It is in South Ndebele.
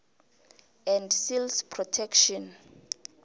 and seals protection